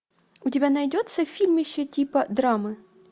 у тебя найдется фильмище типа драмы